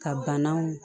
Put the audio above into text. Ka banaw